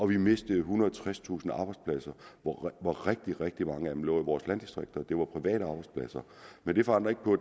vi mistede ethundrede og tredstusind arbejdspladser hvoraf rigtig rigtig mange af dem lå i vores landdistrikter det var private arbejdspladser men det forandrer ikke på